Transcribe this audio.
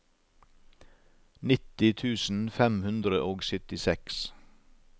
nitti tusen fem hundre og syttiseks